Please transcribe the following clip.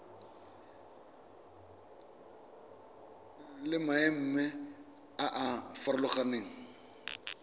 le maemo a a farologaneng